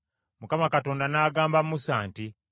Mukama Katonda n’agamba Musa nti,